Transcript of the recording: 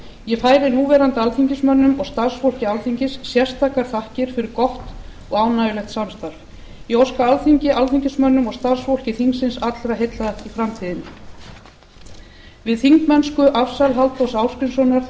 ég færi núverandi alþingismönnum og starfsfólki alþingis sérstakar þakkir fyrir gott og ánægjulegt samstarf ég óska alþingi alþingismönnum og starfsfólki þingsins allra heilla í framtíðinni við þingmennskuafsal halldórs ásgrímssonar